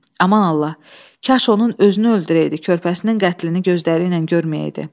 Aman Allah, kaş onun özünü öldürəydi körpəsinin qətlini gözləri ilə görməyəydi.